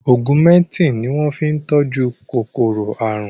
Ọgúmẹtìn ni wọ́n fi tọ́jú kòkòrò àrùn